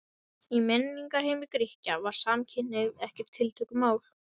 Í menningarheimi Grikkja var samkynhneigð ekkert tiltökumál.